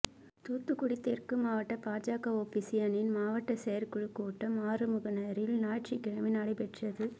தூத்துக்குடி தெற்கு மாவட்ட பாஜக ஓபிசி அணியின் மாவட்ட செயற்குழுக் கூட்டம் ஆறுமுகனேரியில் ஞாயிற்றுக்கிழமை நடைபெற்றது